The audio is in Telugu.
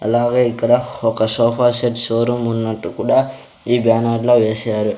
అలాగే ఇక్కడ ఒక సోఫా సెట్ షోరూం ఉన్నట్టు కూడా ఈ బ్యానర్ లో వేశారు.